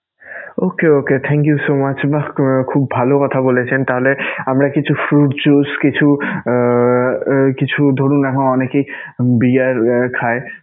Ok ok thank you so much বাহ! খুব ভালো কথা বলেছেন. তাহলে আমরা কিছু fruit juice কিছু আহ কিছু ধরুন উম অনেকেই beer খায়